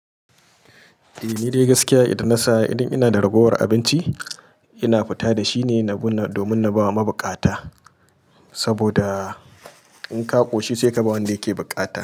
Eh, ni dai gaskiya idan na sa idan ina da ragowar abinci ina fita da shi ne na bi na domin na ba wa mabukata. Saboda in ka ƙoshi sai ka ba wanda yake bukata.